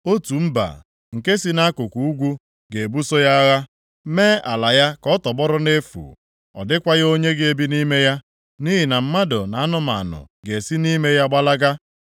Otu mba, nke si nʼakụkụ ugwu, ga-ebuso ya agha, mee ala ya ka ọ tọgbọrọ nʼefu. Ọ dịkwaghị onye ga-ebi nʼime ya, nʼihi na mmadụ na anụmanụ ga-esi nʼime ya gbalaga.